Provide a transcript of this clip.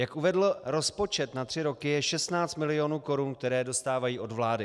Jak uvedl, rozpočet na tři roky je 16 milionů korun, které dostávají od vlády.